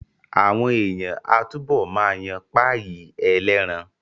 Àwọn èèyàn á túbọ̀ ma yan páyì ẹlẹ́ran